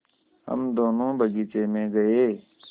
हम दोनो बगीचे मे गये